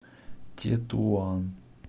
тетуан